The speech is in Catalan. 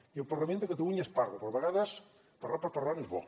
i al parlament de catalunya es parla però a vegades parlar per parlar no és bo